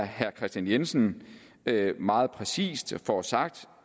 herre kristian jensen meget præcist får sagt